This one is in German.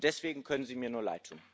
Deswegen können Sie mir nur leidtun.